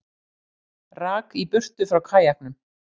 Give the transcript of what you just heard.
Rak í burtu frá kajaknum